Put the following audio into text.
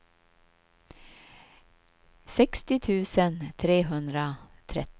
sextio tusen trehundratrettio